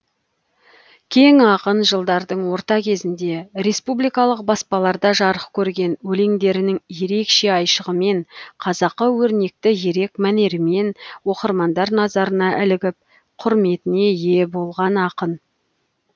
кең ақын жылдардың орта кезінде республикалық баспаларда жарық көрген өлеңдерінің ерекше айшығымен қазақы өрнекті ерек мәнерімен оқырмандар назарына ілігіп құрметіне ие болған ақын